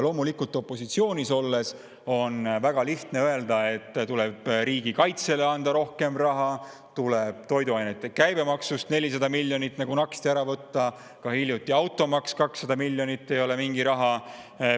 Loomulikult, opositsioonis olles on väga lihtne öelda, et tuleb riigikaitsele anda rohkem raha, tuleb toiduainete käibemaksu summast 400 miljonit nagu naksti ära võtta, ka automaksu 200 miljonit ei ole mingi raha.